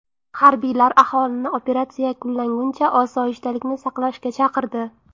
Harbiylar aholini operatsiya yakunlanguncha osoyishtalikni saqlashga chaqirdi.